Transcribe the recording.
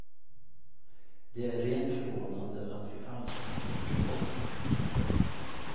Det är rent förvånande att vi alls kan få någon post, tycker jag.